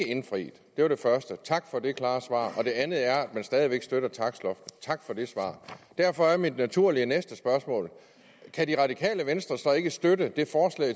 indfriet det var det første tak for det klare svar det andet er at man stadig væk støtter takstloftet tak for det svar derfor er naturligt at mit næste spørgsmål er kan det radikale venstre så ikke støtte